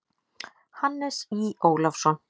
Hannes Í. Ólafsson.